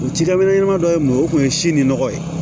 O cikɛla be ɲɛnɛma dɔ ye mun ye o kun ye si ni nɔgɔ ye